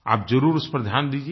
आप ज़रूर उस पर ध्यान दीजिए